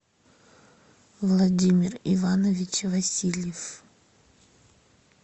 владимир иванович васильев